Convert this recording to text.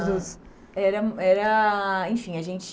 dos... Era era, enfim, a gente...